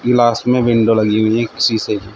Glass में window लगी हुई हैं एक शीशे की।